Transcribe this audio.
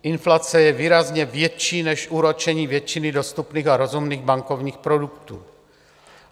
Inflace je výrazně větší než úročení většiny dostupných a rozumných bankovních produktů.